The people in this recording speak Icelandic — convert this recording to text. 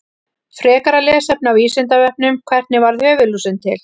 Frekara lesefni á Vísindavefnum: Hvernig varð höfuðlúsin til?